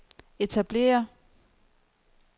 etablere